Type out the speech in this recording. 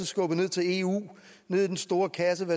skubbet ned til eu ned i den store kasse og